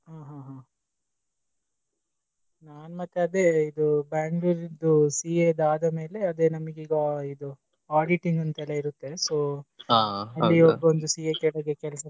ಹ್ಮ್ ಹ್ಮ್ ಹ್ಮ್ ನಾನ್ ಮತ್ತೆ ಅದೇ ಇದು Bangalore ದು CA ದು ಆದ ಮೇಲೆ ನಮ್ಗೆ ಈಗ ಇದು auditing ಅಂತೆಲಾ ಇರತ್ತೆ. So CA ಕೆಳಗೆ ಕೆಲಸ.